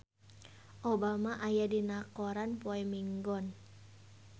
Obama aya dina koran poe Minggon